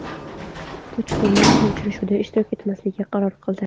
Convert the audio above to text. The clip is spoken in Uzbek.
Puchdemon bu uchrashuvda ishtirok etmaslikka qaror qildi.